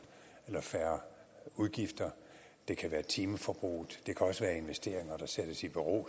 eller færre udgifter det kan være timeforbruget det kan også være investeringer der sættes i bero